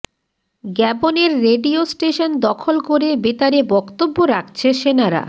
গ্যাবনের radio station দখল করে বেতারে বক্তব্য রাখছে সেনারা